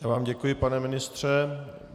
Já vám děkuji, pane ministře.